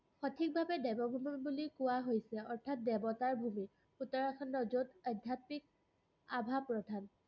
সঠিকভাৱে দেৱভুমি বুলি কোৱা হৈছে, অৰ্থাৎ দেৱতাৰ ভুমি। উত্তৰাখণ্ডৰ য'ত আধ্যাত্মিক আভা-প্ৰভা।